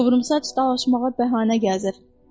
Qıvrımsaç dalaşmağa bəhanə gəzir.